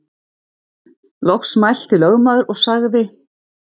Loks mælti lögmaður og sagði